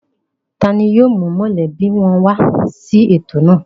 Ta ni yóò mú mọ̀lẹ́bí wọn wá sí ètò náà?